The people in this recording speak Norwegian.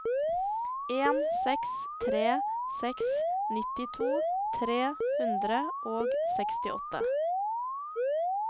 en seks tre seks nittito tre hundre og sekstiåtte